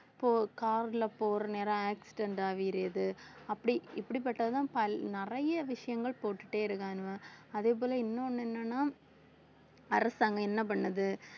இப்போ car ல போற நேரம் accident ஆவீறது அப்படி இப்படிப்பட்டதுதான் பல்~ நிறைய விஷயங்கள் போட்டுட்டே இருக்காங்க அதே போல இன்னொன்னு என்னன்னா அரசாங்கம் என்ன பண்ணுது